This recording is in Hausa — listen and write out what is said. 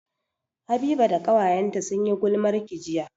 Habiba da ƙawayenta sun yi gulmarki jiya